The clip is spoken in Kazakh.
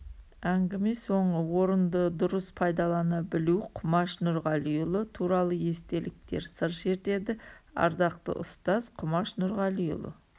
әнгіме соңы орынды дұрыс пайдалана білу құмаш нұрғалиұлы туралы естеліктер сыр шертеді ардақты ұстаз құмаш нұрғалиұлы